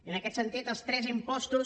i en aquest sentit els tres impostos